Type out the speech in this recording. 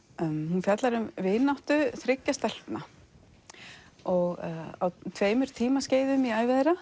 hún fjallar um vináttu þriggja stelpna á tveimur tímaskeiðum í ævi þeirra